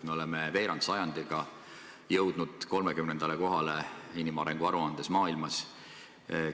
Me oleme veerandsajandiga jõudnud 30. kohale inimarengu aruandes maailma riikide seas.